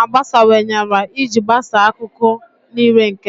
agbasawanyela iji gbasaa akụkụ niile nke ndụ.